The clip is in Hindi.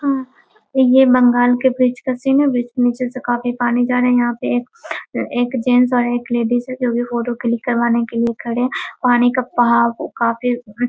हाँ ये बंगाल के ब्रिज का सीन है। ब्रिज के नीचे से काफी पानी जा रहा है। यहाँ पे एक एक जेंट्स और एक लेडीज हैं जो कि फोटो क्लिक करवाने के लिए खड़े हैं। पानी का बहाव काफी --